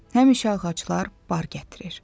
Həmişə ağaclar bar gətirir.